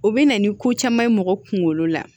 U bɛ na ni ko caman ye mɔgɔ kunkolo la